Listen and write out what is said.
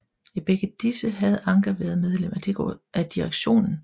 I begge disse havde Anker været medlem af direktionen